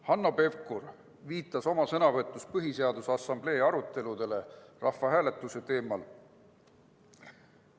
Hanno Pevkur viitas oma sõnavõtus Põhiseaduse Assamblee aruteludele rahvahääletuse teemal.